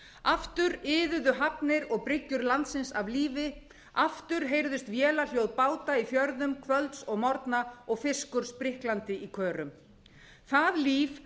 aftur iðuðu hafnir og bryggjur landsins af lífi aftur heyrðust vélarhljóð báta í fjörðum kvölds og morgna og fiskur spriklaði í körum það líf